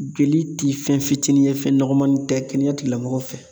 Joli ti fɛn fitinin ye fɛn nɔgɔmanin tɛ kɛnɛya tigilamɔgɔw fɛ